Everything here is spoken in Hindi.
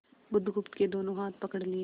बुधगुप्त के दोनों हाथ पकड़ लिए